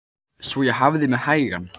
Svo ég hafði mig hægan.